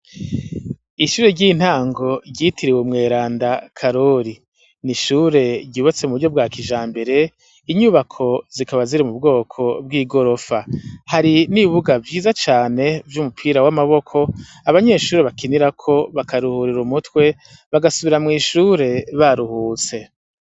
Ishure ry' intango ryitiriwe Umweranda karori n' ishure ry' ubatse muburyo bwakijambere, inyubako zikaba ziri mubwoko bw' igirofa hari n' ikibuga ciza cane c' umupira w' amaboko abanyeshure bakinirako bakaruhurir' umutwe bagasubira mw' ishure baruhutse, iruhande yaco har' abagabo babiri barikuganira.